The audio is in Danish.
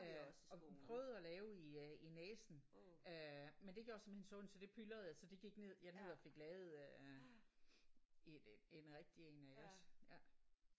Og prøvede at lave i øh i næsen. Øh men det gjorde simpelthen så ondt så det pylrede jeg så det gik ned jeg ned og fik lavet en en rigtig en iggås?